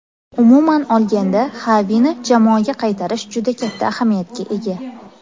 Umuman olganda Xavini jamoaga qaytarish juda katta ahamiyatga ega.